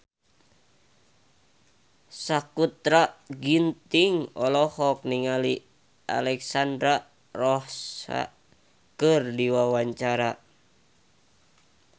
Sakutra Ginting olohok ningali Alexandra Roach keur diwawancara